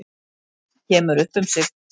Kemur upp um sig.